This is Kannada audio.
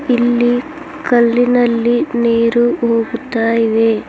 ಇಲ್ಲಿ ಕಲಿನಲ್ಲಿ ನೀರು ಹೋಗುತ್ತಾ ಇವೆ.